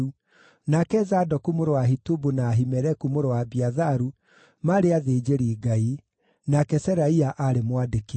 nake Zadoku mũrũ wa Ahitubu na Ahimeleku mũrũ wa Abiatharu maarĩ athĩnjĩri-Ngai; nake Seraia aarĩ mwandĩki.